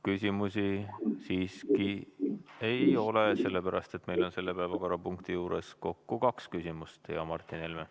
Küsimusi siiski ei ole, sellepärast et meil on selle päevakorrapunkti juures kaks küsimust, hea Martin Helme.